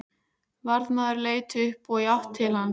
Varðmaður leit upp og í átt til hans.